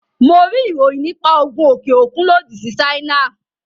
Mo rí ìròyìn nípa Ogun òkè òkun lòdì sí Ṣáínà.